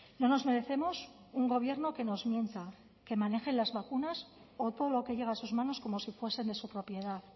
no nos merecemos un gobierno que nos mienta que maneje las vacunas o todo lo que llega a sus manos como si fuesen de su propiedad